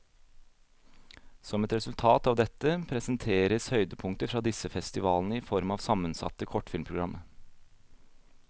Som et resultat av dette, presenteres høydepunkter fra disse festivalene i form av sammensatte kortfilmprogram.